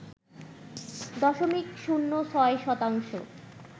দশমিক শূন্য ৬ শতাংশ